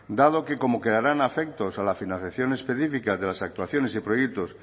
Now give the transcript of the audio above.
dado que como quedarán afectos a la financiación específica de las actuaciones y proyectos